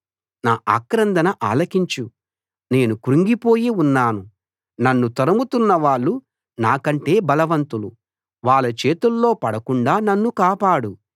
నా ఆక్రందన ఆలకించు నేను క్రుంగిపోయి ఉన్నాను నన్ను తరుముతున్నవాళ్ళు నాకంటే బలవంతులు వాళ్ళ చేతుల్లో పడకుండా నన్ను కాపాడు